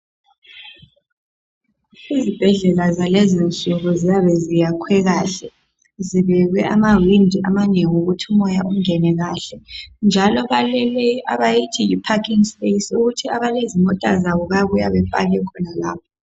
Izibhedlela zalezinsuku ziyabe ziyakhwe kuhle, zibekwe amawindi amanengi ukuthi umoya ungene kuhle njalo baleleyi abayithi yi parking space, ukuthi abalezimota zabo bayabuya bepake khonapho.